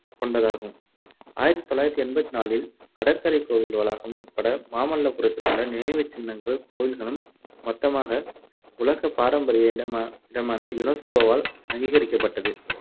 கொண்டதாகும். ஆயிரத்து தொள்ளாயிரத்து எண்பத்து நான்கில் கடற்கரைக் கோவில் வளாகம் உட்பட மாமல்லபுரத்திலுள்ள நினைவுச் சின்னங்கள் கோவில்களும் மொத்தமாக உலகப் பாரம்பரிய இடம்~ இடமென UNESCO வால் அங்கீகரிக்கப்பட்டது.